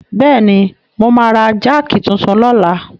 Bẹ́ẹ̀ni, mo máa ra jáàkì titun lọ́la.